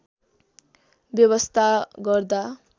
व्यवस्था गर्दा